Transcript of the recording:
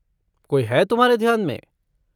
कोई है तुम्हारे ध्यान में?